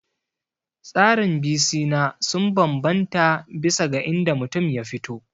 Tsarin bisina sun bambanta bisa ga inda mutum ya fito